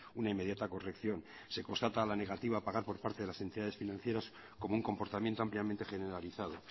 una inmediata corrección se constata la negativa a pagar por parte de las entidades financieras como un comportamiento ampliamente generalizado